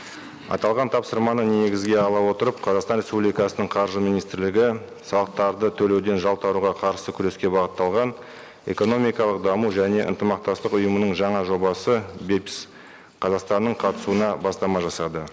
аталған тапсырманы негізге ала отырып қазақстан республикасының қаржы министрлігі салықтарды төлеуден жалтаруға қарсы күреске бағытталған экономикалық даму және ынтымақтастық ұйымының жаңа жобасы қазақстанның қатысуына бастама жасады